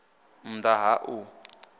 nn ḓ a ha u